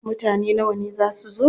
Mutane nawa ne za su zo?